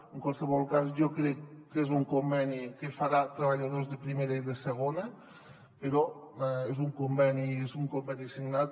en qual·sevol cas jo crec que és un conveni que farà treballadors de primera i de segona però és un conveni signat